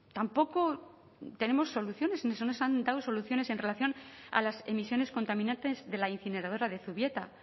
tampoco tenemos soluciones no se nos han dado soluciones en relación a las emisiones contaminantes de la incineradora de zubieta